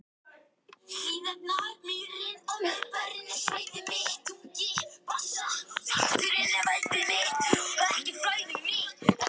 Þorbjörn: Já en fengu þeir afslátt?